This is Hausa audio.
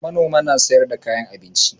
Manoma na sayar da kayan abinci